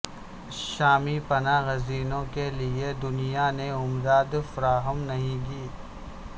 شامی پناہ گزینوں کے لیے دنیا نے امداد فراہم نہیں کی